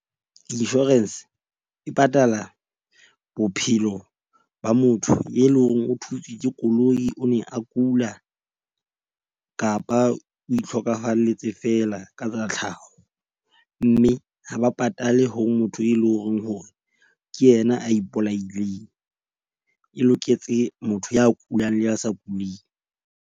Insurance e patala bophelo ba motho e leng hore o thutswe ke koloi. O ne a kula kapa o ihlokafalletse feela ka tsa tlhaho. Mme ha ba patale ho motho e leng hore ke yena a ipolaileng, e loketse motho ya kulang le a sa kuling.